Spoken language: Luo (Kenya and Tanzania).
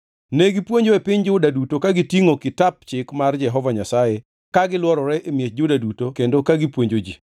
Negipuonjo e piny Juda duto ka gitingʼo Kitap Chik mar Jehova Nyasaye ka gilworore e miech Juda duto kendo ka gipuonjo ji.